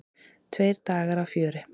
Tveir dagar af fjöri.